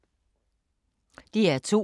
DR2